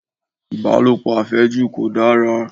Ìbálòpọ̀ àfẹ́jù kò dára